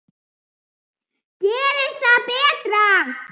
Gerist það betra.